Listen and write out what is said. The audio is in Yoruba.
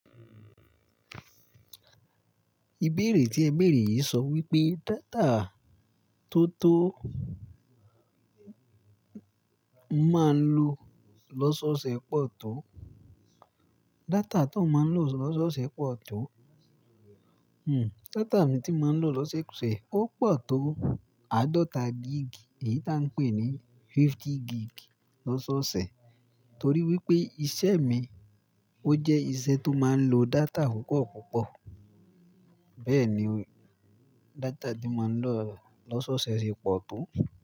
Ìbéèrè tí ẹ béèrè yìí sọ wípé data tó tó máa ń lò lọ́sọ̀ọ̀sẹ̀ pọ̀ tó, data tó ń máa ń lò lọ́sọ̀ọ̀sẹ̀ pọ̀ tó, hmm data mi tí ń máa ń lò lọ́sọ̀ọ̀sẹ̀ ó pọ̀ tó àádọ́ta gig, èyí táa ń pè ní fifty gig lọ́sọ̀ọ̀sẹ̀ torí wípé iṣẹ́ mi ó jẹ́ iṣẹ́ tó máa ń lo data púpọ̀ púpọ̀. Bẹ́ẹ̀ ni, data tí ń máa ń lò lọ́sọ̀ọ̀sẹ̀ ṣe pọ̀ tó.